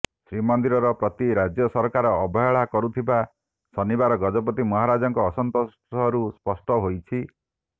ଶ୍ରୀମନ୍ଦିର ପ୍ରତି ରାଜ୍ୟ ସରକାର ଅବହେଳା କରୁଥିବା ଶନିବାର ଗଜପତି ମହାରାଜାଙ୍କ ଅସନ୍ତୋଷରୁ ସ୍ପଷ୍ଟ ହୋଇଛି